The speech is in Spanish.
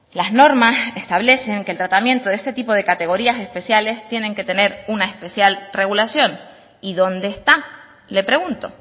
las normas establecen que el tratamiento de este tipo de categorías especiales tienen que tener una especial regulación y dónde está le pregunto